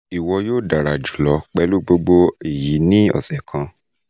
iwọ yoo dara julọ pẹlu gbogbo eyi ni ọsẹ kan